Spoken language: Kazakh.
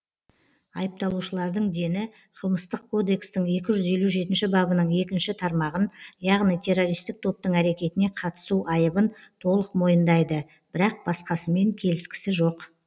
айыпталушылардың дені қылмыстық кодекстің екі жүз елу жетінші бабының екінші тармағын яғни террористік топтың әрекетіне қатысу айыбын толық мойындайды бірақ басқасымен келіскісі жоқ